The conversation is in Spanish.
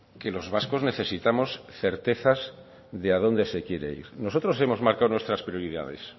que los vascos necesitamos certezas de a dónde se quiere ir nosotros hemos marcado nuestras prioridades